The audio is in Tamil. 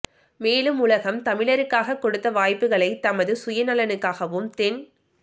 மேலும் உலகம் தமிழருக்காக கொடுத்த வாய்ப்புக்களை தமது சுயநலனுக்காகவும் தென்